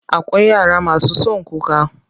Akwai yara masu son kuka.